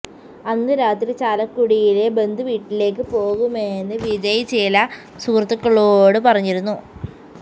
അന്നു രാത്രി ചാലക്കുടിയിലെ ബന്ധുവീട്ടിലേക്ക് പോകുമെന്ന് വിജയ് ചില സുഹൃത്തുക്കളോടു പറഞ്ഞിരുന്നു